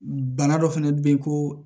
Bana dɔ fɛnɛ bɛ ye ko